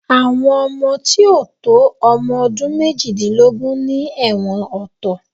Àwọn ọmọ tí ò tó ọmọ ọdún méjìdínlógún ni ẹ̀wọ̀n ọ̀tọ̀